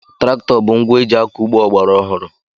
Traktọ bụ ngwa eji akọ ugbo ọgbaraọhụrụ.